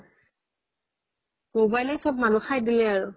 মোবাইলে চব মানুহ খাই দিলে আৰু